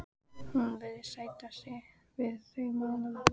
Hún virðist sætta sig við þau málalok.